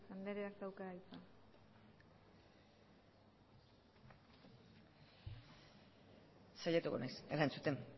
andreak dauka hitza saiatuko naiz erantzuten